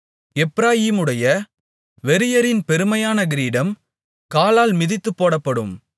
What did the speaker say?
எப்பிராயீமுடைய வெறியரின் பெருமையான கிரீடம் காலால் மிதித்துப்போடப்படும்